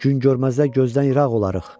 Gün görməzdən gözdən ıraq olarıq.